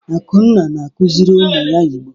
Akunna na-akụziri ụmụ ya Igbo.